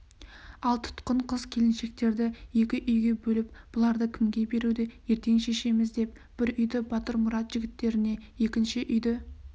ал тұтқын қыз-келіншектерді екі үйге бөліп бұларды кімге беруді ертең шешеміз деп бір үйді батырмұрат жігіттеріне екінші үйді